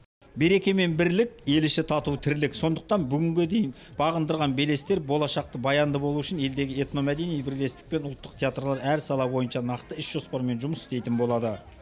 береке мен бірлік ел іші тату тірлік сондықтан бүгінге дейін бағындырған белестер болашақта баянды болу үшін елдегі этно мәдени бірлестікпен ұлттық театрлар әр сала бойынша нақты іс жоспармен жұмыс істейтін болады